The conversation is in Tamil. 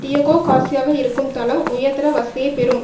டியகோகார்சியாவில் இருக்கும் தளம் உயர்தர வசதியைப் பெறும்